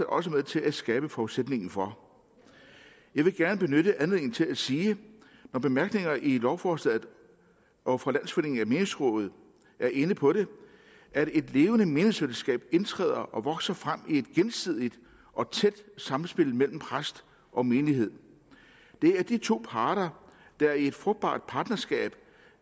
også med til at skabe forudsætningen for jeg vil gerne benytte anledningen til at sige når bemærkningerne i lovforslaget og fra landsforeningen af menighedsråd er inde på det at et levende menighedsfællesskab indtræder og vokser frem i et gensidigt og tæt samspil mellem præst og menighed det er de to parter der i et frugtbart partnerskab